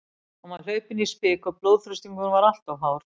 Hann var hlaupinn í spik og blóðþrýstingurinn var allt of hár.